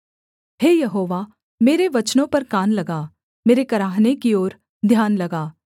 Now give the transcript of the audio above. हे यहोवा मेरे वचनों पर कान लगा मेरे कराहने की ओर ध्यान लगा